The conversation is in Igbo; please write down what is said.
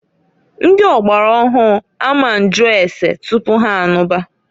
Ndi ọgbara ọhụụ a ma nju ase tupu ha anụba.